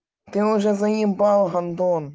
ты уже заебал гондон